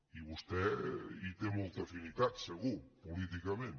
i vostè hi té molta afinitat segur políticament